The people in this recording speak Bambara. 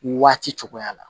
Waati cogoya la